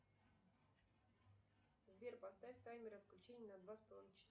сбер поставь таймер отключения на два с половиной часа